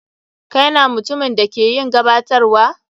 Kai na mutumin da ke yin gabatarwa?